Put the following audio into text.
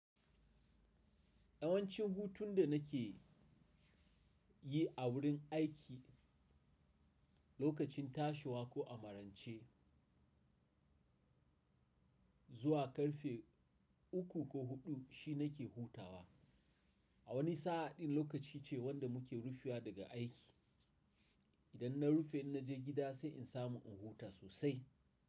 Yawancin hutun da nake yi a wurin aiki lokacin tashiwa ko a marance, zuwa ƙarfe uku ko huɗu shi nake hutawa. A wani sa'a din lokaci ce wanda muke rufewa daga aiki. Idan na rufe na je gida sai in samu in huta sosai.